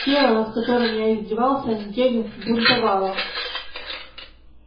тело над которым я издевался неделю бунтовало